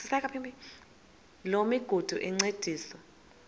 loo migudu encediswa